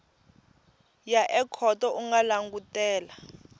ya ekhoto u nga langutela